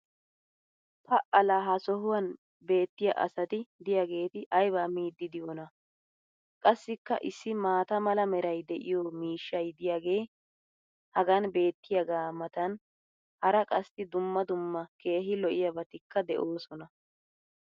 Pa laa ha sohuwan beetiya asati diyaageeti aybaa miidi diyoonaa! Qassikka issi maata mala meray de'iyo miishshay diyaagee hagan beetiyaagaa matan hara qassi dumma dumma keehi lo'iyaabatikka de'oosona.